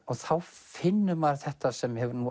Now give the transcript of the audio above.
þá finnur maður þetta sem